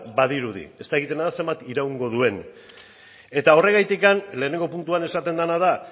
badirudi ez dakiguna da zenbat iraungo duen eta horregatik lehenengo puntuan esaten dena da